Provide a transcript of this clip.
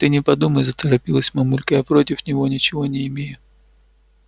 ты не подумай заторопилась мамулька я против него ничего не имею